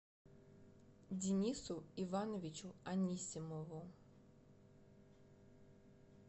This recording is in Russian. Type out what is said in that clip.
динису ивановичу анисимову